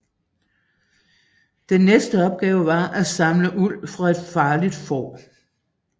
Den næste opgave var at samle uld fra et farligt får